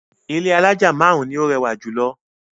Ilé alájà márùn-ún ni ó rẹwà jù lọ.